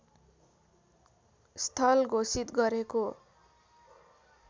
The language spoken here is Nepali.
स्थल घोषित गरेको